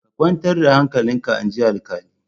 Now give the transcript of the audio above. Ka kwantar da hankalinka inji alkalin.